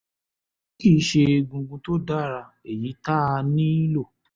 èyí kì í ṣe egungun tó dára èyí tá a nílò